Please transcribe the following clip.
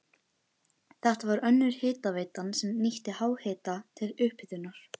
Þetta var önnur hitaveitan sem nýtti háhita til upphitunar.